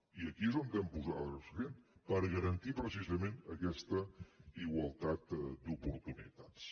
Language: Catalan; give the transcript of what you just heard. i aquí és on hem posat l’accent per garantir precisament aquesta igualtat d’oportunitats